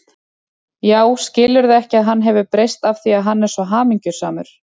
Já, skilurðu ekki að hann hefur breyst af því að hann er svo hamingjusamur.